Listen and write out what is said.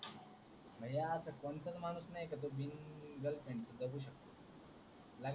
नाही यार कोणी पण माणूस नाहीका बिन गर्लफ्रेंडच जगू शकत